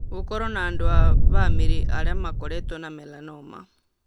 Gũkorũo na andũ a bamĩrĩ arĩa makoretwo na melanoma.